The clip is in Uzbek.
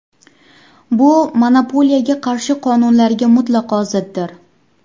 Bu monopoliyaga qarshi qonunlarga mutlaqo ziddir.